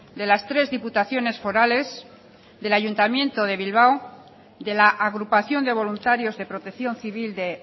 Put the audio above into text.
de las tres diputaciones forales del ayuntamiento de bilbao de la agrupación de voluntarios de protección civil de